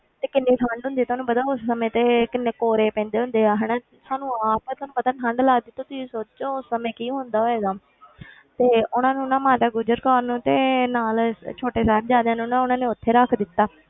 ਤੇ ਕਿੰਨੀ ਠੰਢ ਹੁੰਦੀ ਹੈ, ਤੁਹਾਨੂੰ ਪਤਾ ਉਸ ਸਮੇਂ ਤੇ ਕਿੰਨੇ ਕੋਹਰੇ ਪੈਂਦੇ ਹੁੰਦੇ ਆ ਹਨਾ, ਸਾਨੂੰ ਆਪ ਤੁਹਾਨੂੰ ਪਤਾ ਠੰਢ ਲੱਗਦੀ, ਤੁਸੀਂ ਸੋਚੋ ਉਸ ਸਮੇਂ ਕੀ ਹੁੰਦਾ ਹੋਏਗਾ ਤੇ ਉਹਨਾਂ ਨੂੰ ਨਾ ਮਾਤਾ ਗੁਜਰ ਕੌਰ ਨੂੰ ਤੇ ਨਾਲ ਛੋਟੇ ਸਾਹਿਬਜ਼ਾਦਿਆਂ ਨੂੰ ਨਾ ਉਹਨਾਂ ਨੇ ਉੱਥੇ ਰੱਖ ਦਿੱਤਾ,